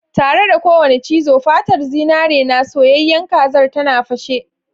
Tare da kowane cizo, fatar zinare na soyayyen kazar tana fashe.